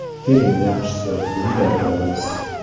– Keling yaxshisi, bunday qilamiz.